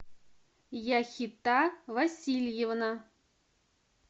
яхита васильевна